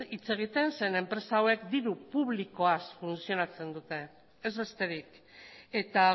hitz egiten zeren eta enpresa hauek diru publikoaz funtzionatzen dute ez besterik eta